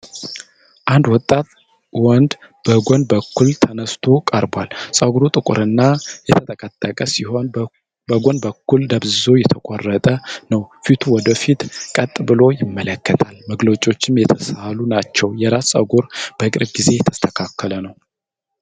አንድ ወጣት ወንድ በጎን በኩል ተነስቶ ቀርቧል። ፀጉሩ ጥቁርና የተጠቀጠቀ (curly) ሲሆን በጎን በኩል ደብዝዞ የተቆረጠ ነው። ፊቱ ወደ ፊት ቀጥ ብሎ ይመለከታል፣ መገለጫዎቹም የተሳሉ ናቸው። የራስ ፀጉሩ በቅርብ ጊዜ የተስተካከለ ነው።